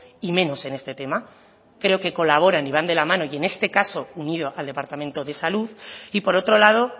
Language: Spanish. y menos en este tema creo que colaboran y van de la mano y en este caso unido al departamento de salud y por otro lado